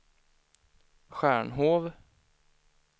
Stjärnhov